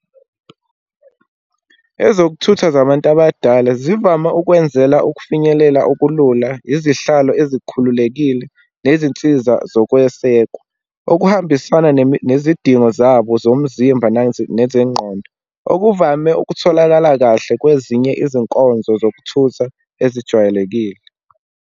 Ezokuthutha zabantu abadala zivama ukwenzela ukufinyelela okulula, izihlalo ezikhululekile, nezinsiza zokwesekwa, okuhambisana nezidingo zabo zomzimba nezengqondo, okuvame ukutholakala kahle kwezinye izinkonzo zokuthutha ezijwayelekile.